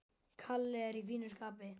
Kalli er í fínu skapi.